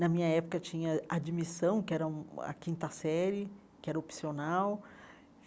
Na minha época, tinha admissão, que era hum a quinta série, que era opcional.